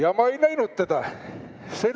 Aga ma ei näinud teda!